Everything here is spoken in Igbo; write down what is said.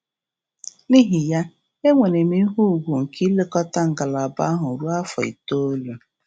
N’ihi ya, e nwere m ihe ugwu nke ilekọta ngalaba ahụ ruo afọ itoolu.